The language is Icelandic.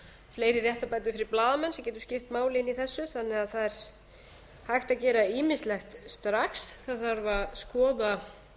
fleiri réttarbætur fyrir blaðamenn sem getur skipt máli inni í þessu þannig að það er hægt að gera ýmislegt strax það þarf að skoða